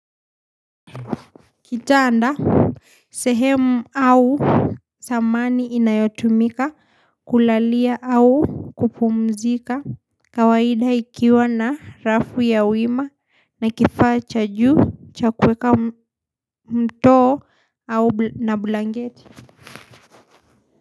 Kitanda sehemu au samani inayotumika kulalia au kupumzika kawaida ikiwa na rafu ya wima na kifaa cha juu chakuweka mtoo au na blanketi.